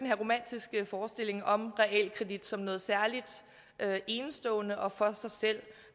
her romantiske forestilling om realkredit som noget særligt enestående og for sig selv